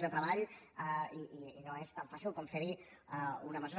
treball i no és tan fàcil com fer hi una mesura